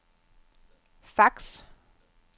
fax